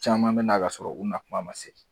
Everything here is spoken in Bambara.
Caman bɛ na ka sɔrɔ u nakuma man se.